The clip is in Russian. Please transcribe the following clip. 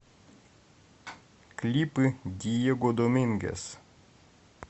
клипы диего домингес